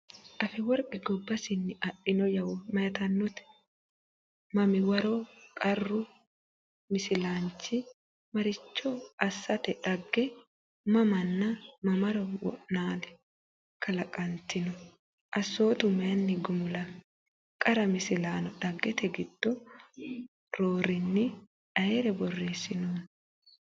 Afeworqi gobbasinni adhino yawo mayitannote? Mamiwaro Qaru Misilaanchi maricho asssate Dhagge mamanna mamaro wo’naali? kalaqantino? Assootu mayinni gumulami? Qara Misilaano Dhaggete giddo roorinni ayre borreessinoonni?